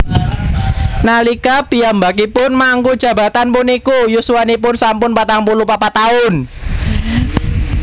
Nalika piyambakipun mangku jabatan puniku yuswanipun sampun patang puluh papat taun